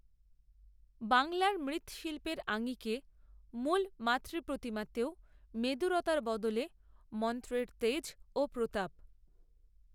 বাংলার মৃ্ৎশিল্পের আঙিকে মূল মাতৃপ্রতিমাতেও মেদুরতার বদলে মন্ত্রের তেজ ও প্রতাপ